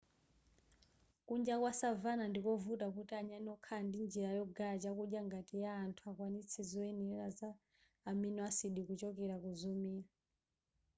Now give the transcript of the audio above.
kunja kwa savanna ndikovuta kuti nyani wokhala ndi njira yogaya chakudya ngati ya anthu akwanitse zoyenera za amino acid kuchokera kuzomera